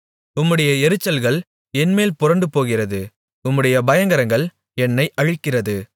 உம்முடைய எரிச்சல்கள் என்மேல் புரண்டுபோகிறது உம்முடைய பயங்கரங்கள் என்னை அழிக்கிறது